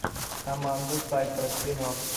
аманда сейфрид кино